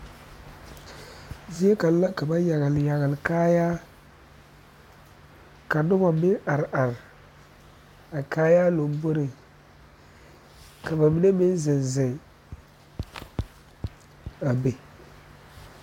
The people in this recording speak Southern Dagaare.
Zie kaŋ la ka ba yagele yagele kaayaa ka noba meŋ are are a kaayaa lamboriŋ ka ba mine meŋ zeŋ zeŋ a be